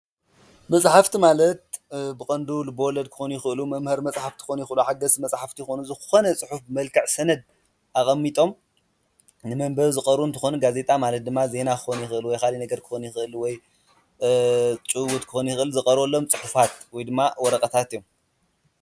መጽሕፍቲ ማለት ብቐንዱ ልበ ወለድ ኽኾኑ ይኽእሉ መምሀሪ መጽሓፍቲ ኽኾኑ ይኽእሉ፡፡ ሓገዝቲ መጽሕፍቲ ኽኾኑ ዝኾነ መፅሑፍቲ ብመልካዕ ሰነድ ኣቐሚጦም ንመንበቢ ዝቐርቡ እንትኾኑ ጋዜጣ ማለት ድማ ዜና ክኾን ይኽእሉ ወይ ኻሊአ ነገር ክኾን ይኽእል ወይ ጭውውት ኽኾን ዮኽአል ዝቐርበሎም ጽሑፋት ወይ ድማ ወረቐታት እዮም፡፡